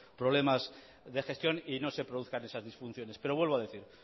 problemas de gestión y no se produzcan esas disfunciones pero vuelvo a decir